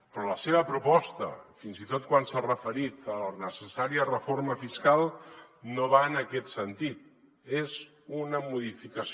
però la seva proposta fins i tot quan s’ha referit a la necessària reforma fiscal no va en aquest sentit és una modificació